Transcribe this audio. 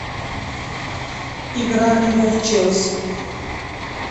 игра ливер челси